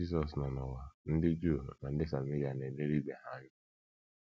Mgbe Jizọs nọ n’ụwa, ndị Juu na ndị Sameria na - elelị ibe ha anya.